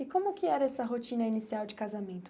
E como que era essa rotina inicial de casamento?